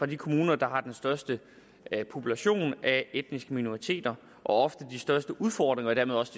de kommuner der har den største population af etniske minoriteter og ofte de største udfordringer og dermed også